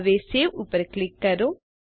હવે સવે પર ક્લિક કરો